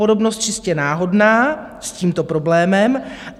Podobnost čistě náhodná s tímto problémem.